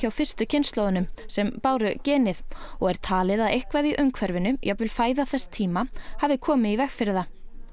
fyrstu kynslóðunum sem báru genið og er talið að eitthvað í umhverfinu jafnvel fæða þess tíma hafi komið í veg fyrir það